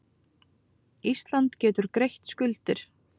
Ísland getur greitt skuldir